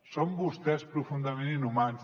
són vostès profundament inhumans